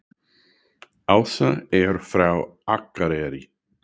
Ása er frá Akureyri.